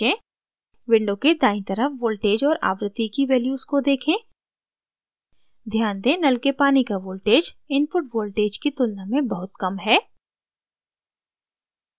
window के दायीं तरफ voltage और आवृत्ति की values को देखें ध्यान दें नल के पानी का voltage input voltage की तुलना में बहुत कम है